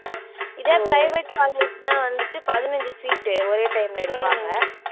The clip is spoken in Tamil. இதே private college ன்னா வந்துட்டு பதினைந்து seat உ ஒரே time ல எடுப்பாங்க.